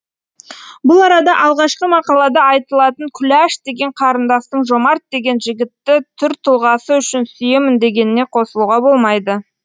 бұл арада алғашқы мақалада айтылатын күләш деген қарындастың жомарт деген жігітті түр тұлғасы үшін сүйемін дегеніне қосылуға болмайды